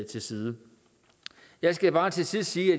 til side jeg skal bare til sidst sige at